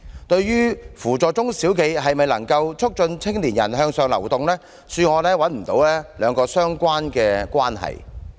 對於扶助中小企是否就能促進青年人向上流動，恕我找不到兩者相關的關係。